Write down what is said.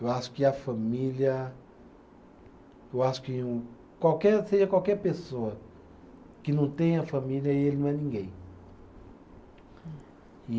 Eu acho que a família, eu acho que um, qualquer, seja qualquer pessoa que não tenha família, ele não é ninguém. E